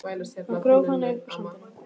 Hann gróf hana upp úr sandinum!